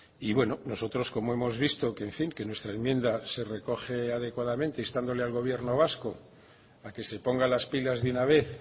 y bueno nosotros como hemos visto que en fin que nuestra enmienda se recoge adecuadamente instándole al gobierno vasco a que se ponga las pilas de una vez